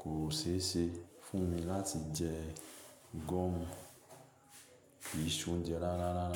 kò ṣe é ṣe fún mi láti jẹ gọ́ọ̀mù ì ṣe oúnjẹ rárá.